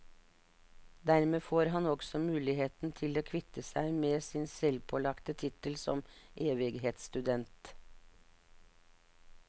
Dermed får han også muligheten til å kvitte seg med sin selvpålagte tittel som evighetsstudent.